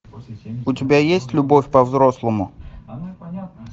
у тебя есть любовь по взрослому